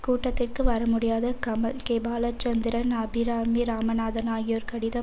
கூட்டத்திற்கு வரமுடியாத கமல் கே பாலசந்தரன் அபிராமி ராமநாதன் ஆகியோர் கடிதம்